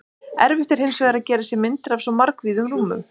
Erfitt er hins vegar að gera sér myndir af svo margvíðum rúmum.